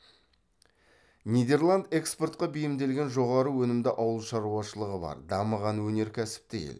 нидерланд экспортқа бейімделген жоғары өнімді ауыл шаруашылығы бар дамыған өнеркәсіпті ел